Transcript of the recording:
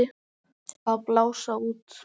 Að blása út.